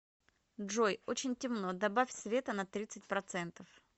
джой очень темно добавь света на тридцать процентов